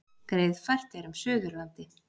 Greiðfært er um Suðurlandi